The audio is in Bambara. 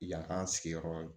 Yan k'an sigiyɔrɔ